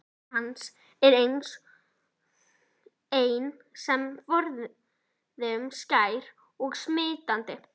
Hlátur hans er enn sem forðum skær og smitandi.